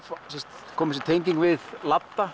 kom þessi tenging við